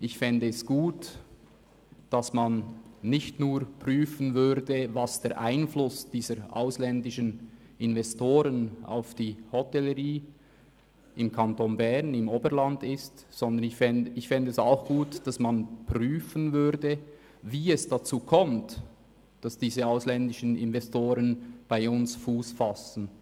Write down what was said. Ich fände es gut, nicht nur den Einfluss ausländischer Investoren auf die Hotellerie im Berner Oberland zu prüfen, sondern auch zu prüfen, wie es dazu kommt, dass diese ausländischen Investoren bei uns Fuss fassen.